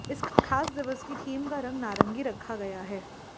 इस खास दिवस की थीम का रंग नारंगी रखा गया है